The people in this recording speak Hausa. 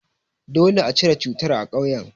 Dole a cire cutar a ƙauyen.